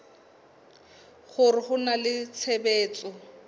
hore ho na le tshebetso